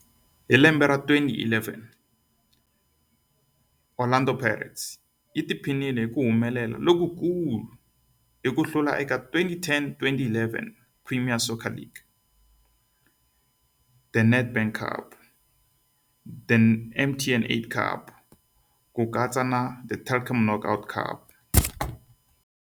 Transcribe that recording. Hi lembe ra 2011, Orlando Pirates yi tiphinile hi ku humelela lokukulu hi ku hlula eka 2010-11 Premier Soccer League, The Nedbank Cup, The MTN 8 Cup na The Telkom Knockout.